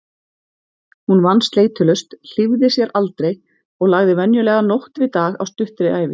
Hún vann sleitulaust, hlífði sér aldrei og lagði venjulega nótt við dag á stuttri ævi.